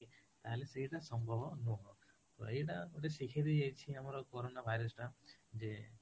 ତାହା ହେଲେ ଏଇଟା ସମ୍ଭବ ନୁହଁ ତ ଏଇଟା ଗୋଟେ ଶିଖେଇ ଦେଇ ଯାଇଛି ଆମର corona virus ଟା ଯେ